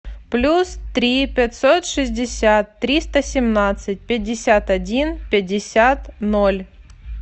плюс три пятьсот шестьдесят триста семнадцать пятьдесят один пятьдесят ноль